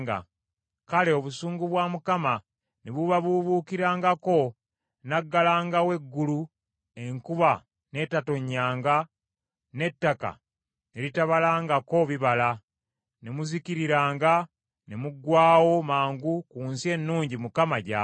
Kale obusungu bwa Mukama ne bubabuubuukirangako, n’aggalangawo eggulu, enkuba ne tetonnyanga, n’ettaka ne litabalangako bibala, ne muzikiriranga ne muggwaawo mangu ku nsi ennungi Mukama gy’abawa.